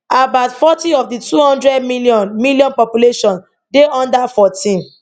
about forty of di 200 million million population dey under 14